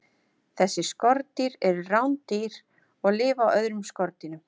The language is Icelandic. Þessi skordýr eru rándýr og lifa á öðrum skordýrum.